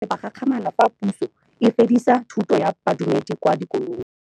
Bagolo ba ne ba gakgamala fa Pusô e fedisa thutô ya Bodumedi kwa dikolong.